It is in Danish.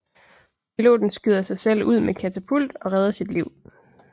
Piloten skyder sig ud med katapult og redder sit liv